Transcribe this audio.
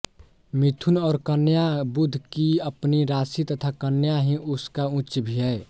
मिथुन और कन्या बुध की अपनी राशि तथा कन्या ही उसका उच्च भी है